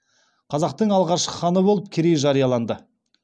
қазақтың алғашқы ханы болып керей жарияланды